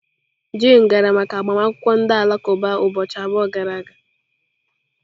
Jane gara maka agbamakwụkwọ ndị Alakụba ụbọchị abụọ gara aga.